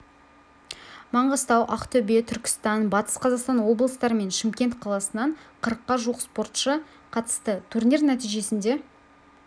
маңғыстау ақтөбе түркістан батыс қазақстан облыстары мен шымкент қаласынан қырыққа жуық спортшы қатысты турнир нәтижесінде